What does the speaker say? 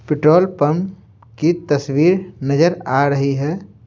Petrol pump की तस्वीर नजर आ रही है।